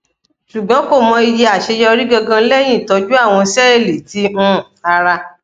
ṣugbọn ko mọ iye aṣeyọri gangan lẹhin itọju awọn sẹẹli ti um ara